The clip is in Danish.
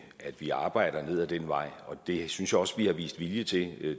at vi arbejder ned ad den vej det synes jeg også vi har vist vilje til